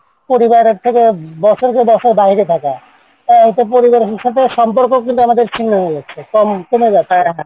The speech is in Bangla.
পরিবার থেকে তো পরিবার থেকে সম্পর্ক আমাদের ছিন্ন হয়ে গেছে